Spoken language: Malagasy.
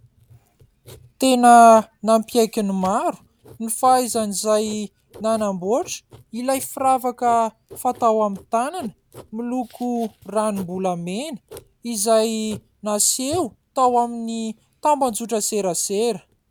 Tena nampiaiky ny maro ny fahaizan'izay nanamboatra ilay firavaka fatao amin'ny tanana miloko ranom-bolamena izay naseho tao amin'ny tambajotran-tserasera.